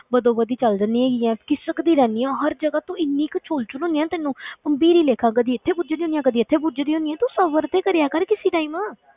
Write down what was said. ਵੱਧੋ ਵੱਧੀ ਚੱਲ ਜਾਂਦੀ ਹੈਗੀ ਹੈ, ਖ਼ਿਸਕ ਦੀ ਰਹਿਨੀ ਹੈ ਹਰ ਜਗ੍ਹਾ ਤੋਂ ਇੰਨੀ ਕੁ ਛੋਲ ਛੋਲ ਹੁੰਦੀ ਹੈ ਨਾ ਤੈਨੂੰ ਭੰਭੀਰੀ ਲੇਖਾ ਕਦੇ ਇੱਥੇ ਪੁੱਜ ਦੀ ਹੁੰਦੀ ਹੈ ਕਦੇ ਇੱਥੇ ਪੁੱਜ ਦੀ ਹੁੰਦੀ, ਤੂੰ ਸਬਰ ਤੇ ਕਰਿਆ ਕਰ ਕਿਸੇ time